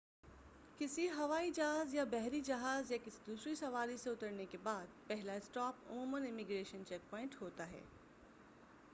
کسی ہوائی جہاز یا بحری جہاز یا کسی دوسری سواری سے اترنے کے بعد پہلا اسٹاپ عموماً امیگریشن چیک پوائنٹ ہوتا ہے